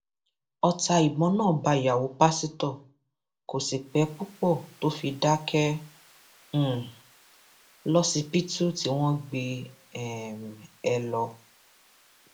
ọtá ìbọn náà bá ìyàwó pásítọ kò sì pẹ púpọ tó fi dákẹ um lọsibítù tí wọn gbé um e lọ